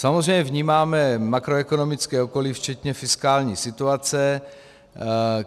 Samozřejmě vnímáme makroekonomické okolí včetně fiskální situace.